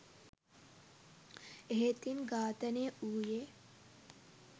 එහෙත් ඉන් ඝාතනය වූයේ